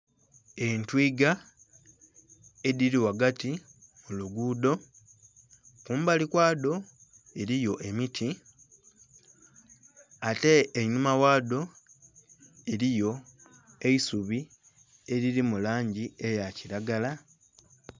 Entwiiga edhili ghagati mu luguudho. Kumbali kwadho eliyo emiti ate einhuma ghadho eliyo eisubi elili mu langi eya kilagala.